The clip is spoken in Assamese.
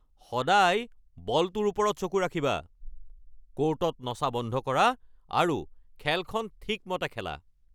সদায় বলটোৰ ওপৰত চকু ৰাখিবা! ক'ৰ্টত নচা বন্ধ কৰা আৰু খেলখন ঠিকমতে খেলা।